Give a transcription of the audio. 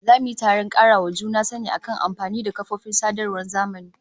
Za mu yi taron karawa juna sani akan amfani da kafofin sadarwar zamani